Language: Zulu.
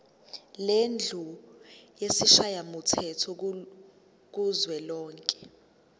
lendlu yesishayamthetho kuzwelonke